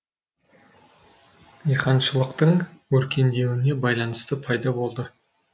диқаншылықтың өркендеуіне байланысты пайда болды